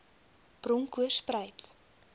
bronkoorspruit